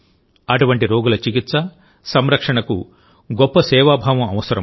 అటువంటి రోగుల చికిత్స సంరక్షణకు గొప్ప సేవాభావం అవసరం